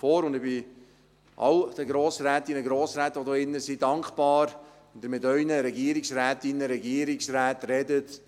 Ich bin allen Grossrätinnen und Grossräten hier im Saal dankbar, wenn Sie mit Ihren Regierungsrätinnen und Ihren Regierungsräten sprechen: